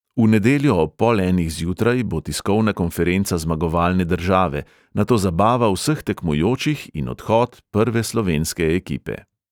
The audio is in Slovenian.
V nedeljo ob pol enih zjutraj bo tiskovna konferenca zmagovalne države, nato zabava vseh tekmujočih in odhod prve slovenske ekipe.